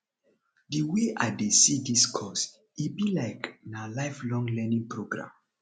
di wey i dey see dis course e be like na lifelong learning program